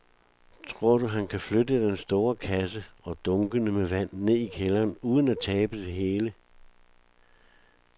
Tror du, at han kan flytte den store kasse og dunkene med vand ned i kælderen uden at tabe det hele?